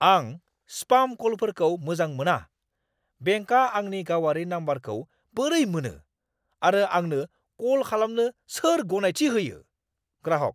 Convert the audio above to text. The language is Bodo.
आं स्पाम कलफोरखौ मोजां मोना। बेंकआ आंनि गावारि नम्बरखौ बोरै मोनो आरो आंनो कल खालामनो सोर गनायथि होयो? (ग्राहक)